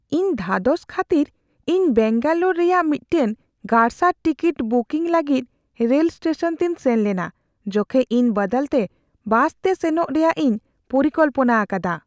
ᱤᱧ ᱫᱷᱟᱫᱚᱥ ᱠᱷᱟᱹᱛᱤᱨ, ᱤᱧ ᱵᱮᱝᱜᱟᱞᱳᱨ ᱨᱮᱭᱟᱜ ᱢᱤᱫᱴᱟᱝ ᱜᱟᱨᱥᱟᱨ ᱴᱤᱠᱤᱴ ᱵᱩᱠᱤᱝ ᱞᱟᱹᱜᱤᱫ ᱨᱮᱞ ᱥᱴᱮᱥᱚᱱ ᱛᱤᱧ ᱥᱮᱱ ᱞᱮᱱᱟ ᱡᱚᱠᱷᱮᱡ ᱤᱧ ᱵᱟᱫᱟᱞᱛᱮ ᱵᱟᱥᱛᱮ ᱥᱮᱱᱚᱜ ᱨᱮᱭᱟᱜ ᱤᱧ ᱯᱚᱨᱤᱠᱚᱞᱯᱚᱱᱟ ᱟᱠᱟᱫᱟ ᱾